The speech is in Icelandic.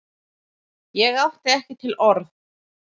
Ég átti ekki til orð!